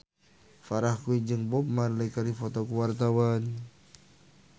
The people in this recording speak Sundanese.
Farah Quinn jeung Bob Marley keur dipoto ku wartawan